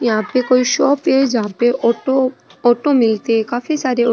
यहाँ पे कोई शॉप है जहा पे ऑटो ऑटो मिलती है काफी सारे ओ --